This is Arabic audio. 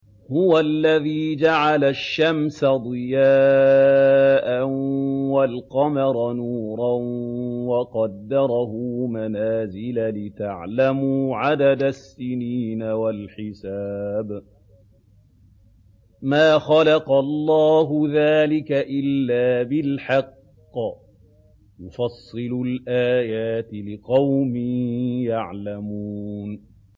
هُوَ الَّذِي جَعَلَ الشَّمْسَ ضِيَاءً وَالْقَمَرَ نُورًا وَقَدَّرَهُ مَنَازِلَ لِتَعْلَمُوا عَدَدَ السِّنِينَ وَالْحِسَابَ ۚ مَا خَلَقَ اللَّهُ ذَٰلِكَ إِلَّا بِالْحَقِّ ۚ يُفَصِّلُ الْآيَاتِ لِقَوْمٍ يَعْلَمُونَ